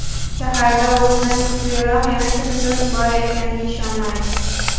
Shaharda o‘zidan kuchliroq yana kimdir bor ekaniga ishonmaydi.